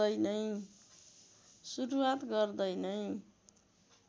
सुरुवात गर्दै नै